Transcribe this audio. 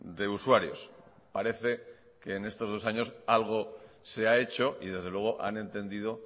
de usuarios parece que en estos dos años algo se ha hecho y desde luego han entendido